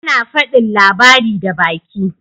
Ana fadin labari da baki.